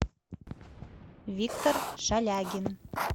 виктор шалягин